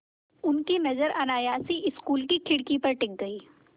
उनकी नज़र अनायास ही स्कूल की खिड़की पर टिक गई